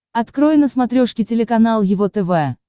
открой на смотрешке телеканал его тв